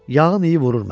yağın iyi vurur məni.